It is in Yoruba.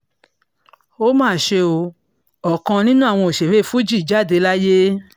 ó mà ṣe o ọ̀kan nínú àwọn òṣèré fuji jáde láyé